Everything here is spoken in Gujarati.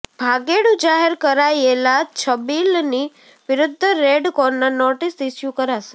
ભાગેડુ જાહેર કરાયેલા છબીલની વિરૂધ્ધ રેડ કોર્નર નોટિસ ઈશ્યુ કરાશે